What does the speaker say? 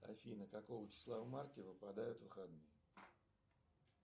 афина какого числа в марте выпадают выходные